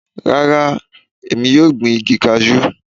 Rárá, èmi yóò gbin igi cashew.